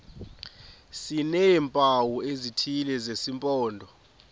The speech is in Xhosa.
sineempawu ezithile zesimpondo